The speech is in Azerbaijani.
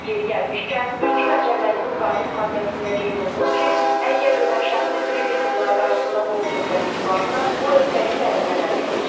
Yeri gəlmişkən, Mülki Məcəllənin müvafiq maddəsində qeyd olunub ki, əgər ölən şəxsin kreditorlar qarşısında borc öhdəliyi varsa, bu öhdəlik vərəsələrinə keçir.